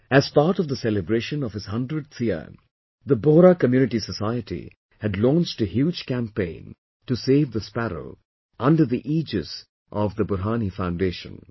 As part of the celebration of his 100th year the Bohra community society had launched a huge campaign to save the sparrow under the aegis of Burhani Foundation